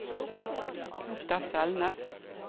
Petter Selnes